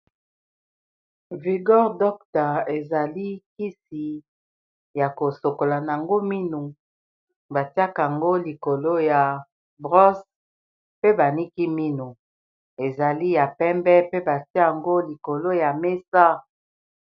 Vigor docta ezali kisi ya kosokola nango mino batiaka ngo likolo ya brosse pe baniki minu ezali ya pembe pe batiayango likolo ya mesa.